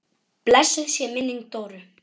Blessuð sé minning Dóru.